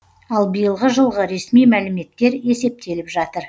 ал биылғы жылғы ресми мәліметтер есептеліп жатыр